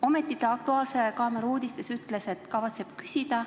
Ometi ta "Aktuaalse kaamera" uudistes ütles, et kavatseb küsida.